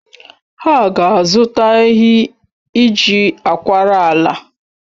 Ha ga-azụta ehi iji akwara ala